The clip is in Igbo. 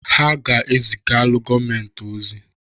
Ha ga-ezugalụ gọọmentị ọzi.